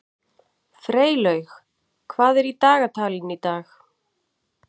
Freylaug, hvað er í dagatalinu í dag?